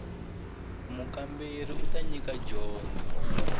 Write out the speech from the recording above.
mukamberiwa u ta nyika dyondzo